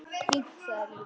Fínt sagði Lilla.